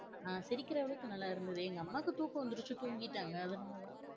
ஆஹ் சிரிக்கிற அளவுக்கு நல்லா இருந்தது எங்க அம்மாக்கு தூக்கம் வந்துருச்சு தூங்கிட்டாங்க அதனாலதா